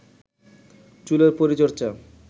চুলের পরিচর্চা